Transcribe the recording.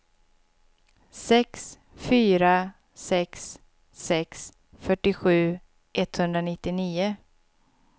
sex fyra sex sex fyrtiosju etthundranittionio